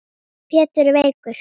Pétur er veikur.